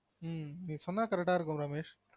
ம்ம் நீ சொன்னா correct ஆ இருக்கும் ரமேஷ்